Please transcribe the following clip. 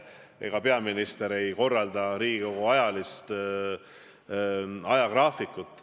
Ega peaminister ei koosta Riigikogu ajagraafikut.